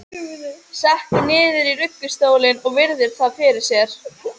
Sekkur niður í ruggustólinn og virðir það fyrir sér.